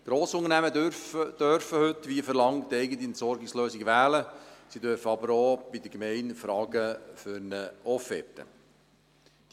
Grossunternehmen dürfen heute, wie verlangt, eigene Entsorgungslösungen wählen, sie dürfen aber auch bei der Gemeinde für eine Offerte anfragen.